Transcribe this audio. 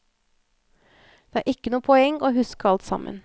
Det er ikke noe poeng i å huske alt sammen.